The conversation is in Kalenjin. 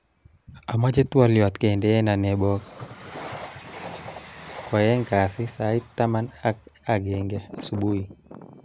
Amache twoliot kendenaa nebo koaeng kasi sait tamab ak genge subui